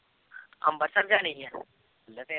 ਅੰਬਰਸਰ ਜਾਣੀ ਹੈ